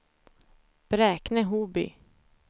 Bräkne-Hoby